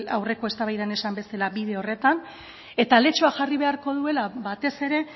aurreko eztabaidan esan bezala bide horretan eta aletxoa jarri beharko duela batez ere